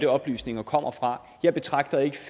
oplysninger kommer fra jeg betragter ikke